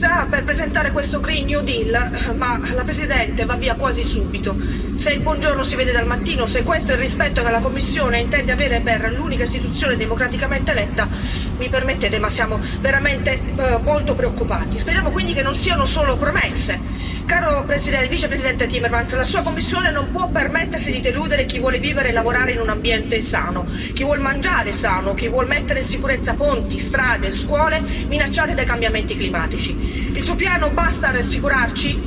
Signora Presidente, onorevoli colleghi, ci avete convocato d'urgenza per presentare questo ma la Presidente va via quasi subito. Se il buongiorno si vede dal mattino, se questo è il rispetto che la Commissione intende avere per l'unica Istituzione democraticamente eletta, mi permettete, ma siamo veramente molto preoccupati. Speriamo quindi che non siano solo promesse! Caro Vicepresidente Timmermans, la sua Commissione non può permettersi di deludere chi vuole vivere e lavorare in un ambiente sano, chi vuol mangiare sano, chi vuol mettere in sicurezza ponti, strade e scuole minacciate dai cambiamenti climatici. Il suo piano basta a rassicurarci?